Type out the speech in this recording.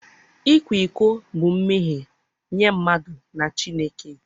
ịkwa iko bụ mmehie nye mmadụ na Chineke.